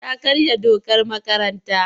Ta karya dokar makaranta.